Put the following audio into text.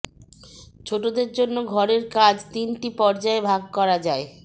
ছোটদের জন্য ঘরের কাজ তিনটি পর্যায় ভাগ করা যায়